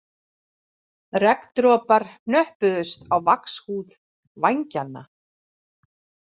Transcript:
Regndropar hnöppuðust á vaxhúð vængjanna